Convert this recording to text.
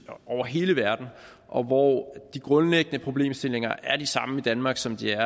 over hele verden og hvor de grundlæggende problemstillinger er de samme i danmark som de er